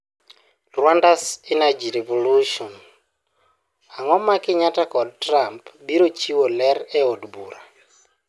Rwanda's energy revolution' Ang'o ma Kenyatta kod Trump biro chiwo ler e Od Bura?